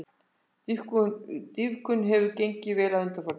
Dýpkun hefur gengið vel að undanförnu